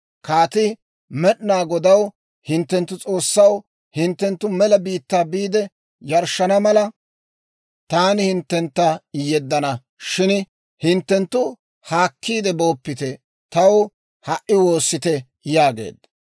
Kaatii, «Med'inaa Godaw, hinttenttu S'oossaw, hinttenttu mela biittaa biide yarshshana mala, taani hinttentta yeddana; shin hinttenttu haakkiide booppite; taw ha"i woossite» yaageedda.